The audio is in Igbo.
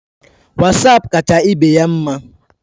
Wasapu kacha ibeya mma